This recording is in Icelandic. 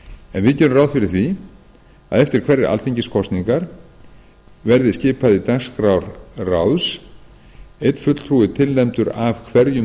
en við gerum ráð fyrir því að eftir hverjar alþingiskosningar verði skipað í dagskrár ráðs einn fulltrúi tilnefndur af hverjum